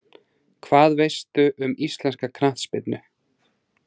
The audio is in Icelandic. Hvað veistu um íslenska knattspyrnu?